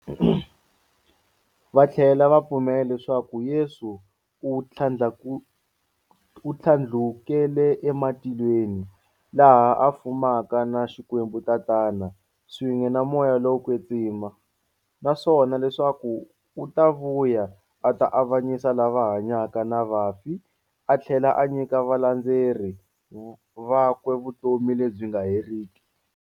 Vathlela va pfumela leswaku Yesu u thlandlukele ematilweni, laha a fumaka na Xikwembu-Tatana, swin'we na Moya lowo kwetsima, naswona leswaku u ta vuya a ta avanyisa lava hanyaka na vafi athlela a nyika valandzeri vakwe vutomi lebyi nga heriki.